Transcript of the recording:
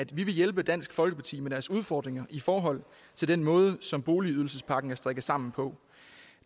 vi vil hjælpe dansk folkeparti med deres udfordringer i forhold til den måde som boligydelsespakken er strikket sammen på